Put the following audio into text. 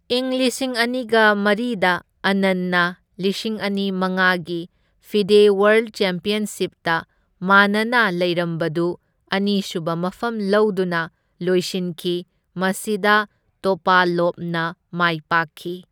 ꯏꯪ ꯂꯤꯁꯤꯡ ꯑꯅꯤꯒ ꯃꯔꯤꯗ ꯑꯥꯅꯟꯅ ꯂꯤꯁꯤꯡ ꯑꯅꯤ ꯃꯉꯥꯒꯤ ꯐꯤꯗꯦ ꯋꯥꯔꯜꯗ ꯆꯦꯝꯄ꯭ꯌꯟꯁꯤꯞꯇ ꯃꯥꯅꯅ ꯂꯩꯔꯝꯕꯗꯨ ꯑꯅꯤꯁꯨꯕ ꯃꯐꯝ ꯂꯧꯗꯨꯅ ꯂꯣꯢꯁꯤꯟꯈꯤ, ꯃꯁꯤꯗ ꯇꯣꯄꯥꯂꯣꯚꯅ ꯃꯥꯏ ꯄꯥꯛꯈꯤ꯫